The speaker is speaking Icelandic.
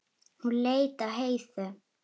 Hún leit á Heiðu.